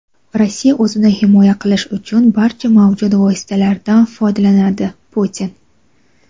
Rossiya o‘zini himoya qilish uchun barcha mavjud vositalardan foydalanadi – Putin.